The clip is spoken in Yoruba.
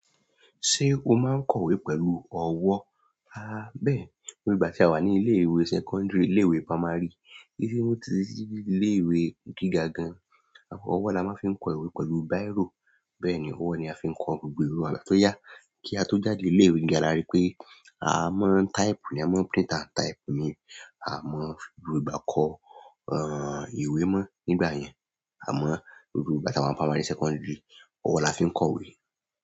Ṣé o máa ń kọ ìwé pẹ̀lú ọwọ́? Àbẹ́ẹ̀, nígbà tí a wà ní ilé-ìwé secondary, ilé-ìwé primary, titi dí ilé-ìwé gíga gan, ọwọ́ la máa ń fi kọ ìwé pẹ̀lú bírò. Bẹ́ẹ̀ ni, ọwọ́ ni a fi ń kọ gbogbo ìwé wa tó yá kí a tó jáde ilé-ìwé gigà làrí pé, a mọ type ni, a mọ print and type ni, a mọ fi gbo ìgbà kọ, ìwé mọ́ nígbà yẹn. A mọ gbogbo ìgbà tí a wà ní primary, secondary, ọwọ́ la fi ń kọ ìwé.